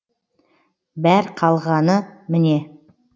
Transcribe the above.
бәр қалғаны міне